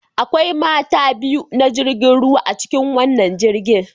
Akwai mata biyu na jirgin ruwa a cikin wannan jirgin